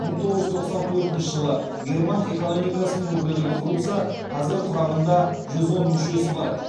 мың тоғыз жүз тоқсан төртінші жылы герман экономикасының өкілдігі құрылса қазір құрамында жүз он мүшесі бар